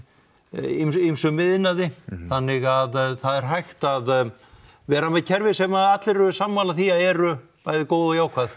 ýmsum iðnaði þannig að það er hægt að vera með kerfi sem að allir eru sammála því að eru góð ig jákvæð